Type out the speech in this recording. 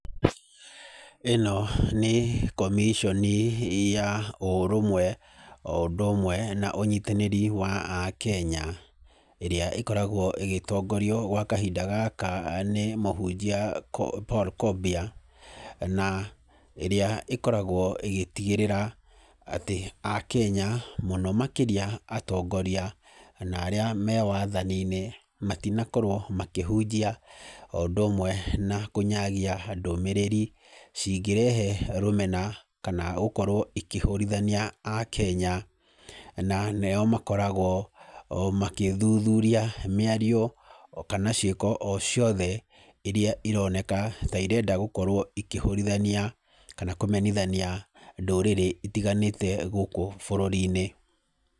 Ĩno nĩ comission ya ũrũmwe o ũndũ ũmwe na ũnyitanĩri wa akenya, ĩria ĩkoragwo ĩgĩtongorio gwa kahinda gaka nĩ mũhunjia Paul Kobia, na ĩrĩa ĩkoragwo ĩgĩtigĩrĩra akenya na mũno makĩria atongoria na arĩa me wathani-inĩ matinakorwo makĩhunjia o ũndũ ũmwe na kũnyagia ndũmĩrĩri cingĩrehe rũmena, kana gũkorwo cikĩhũrithania akenya, na nĩo makoragwo o makĩthuthuria mĩario kana ciĩko o ciothe iria ironeka ta irenda gũkorwo ikĩhũrithania, kana kũmenithania ndũrĩrĩ itiganĩte gũũkũ bũrũri-inĩ.